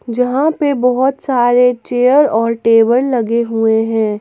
जहां पे बहोत सारे चेयर और टेबल लगे हुए है।